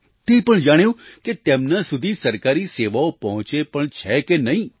તે પણ જાણ્યું કે તેમના સુધી સરકારી સેવાઓ પહોંચે પણ છે કે નહીં